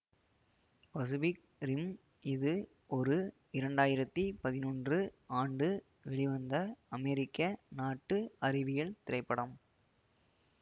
Pacific Rim இது ஒரு இரண்டாயிரத்தி பதினொன்று ஆண்டு வெளிவந்த அமெரிக்கா நாட்டு அறிவியல் திரைப்படம்